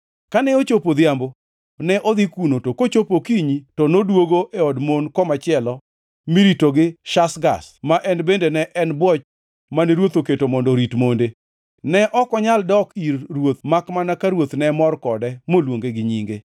Kane ochopo odhiambo ne odhi kuno to kochopo okinyi, to noduogo e od mon komachielo mirito gi Shashgaz, ma en bende ne en bwoch mane ruoth oketo mondo orit monde. Ne ok onyal dok ir ruoth makmana ka ruoth ne mor kode moluonge gi nyinge.